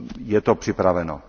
Je to připraveno.